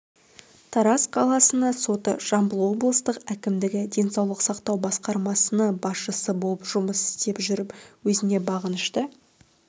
тараз қаласыны соты жамбыл облыстық әкімдігі денсаулық сақтау басқармасыны басшысы болып жұмыс істеп жүріп өзіне бағынышты